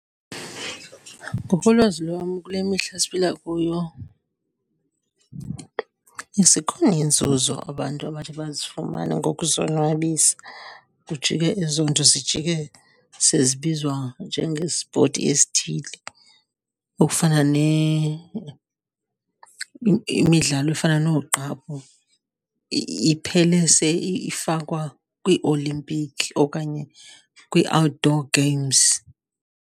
Ngokolwazi lwam, kule mihla siphila kuyo zikhona iinzuzo abantu abathi bazifumane ngokuzonwabisa kujike ezoonto zijike sezibizwa njengespoti esithile. Okufana imidlalo efana noogqaphu iphele ifakwa kwiioimpikhi okanye kwii-outdoor games.